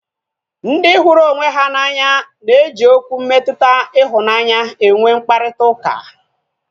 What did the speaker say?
Ndị hụrụ onwe ha n'anya na eji Okwu mmetụta ịhụnanya enwe mkparịta ụka